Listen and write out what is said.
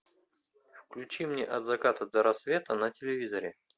включи мне от заката до рассвета на телевизоре